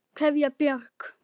Kveðja, Björg.